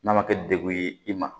N'a ma kɛ degun ye i ma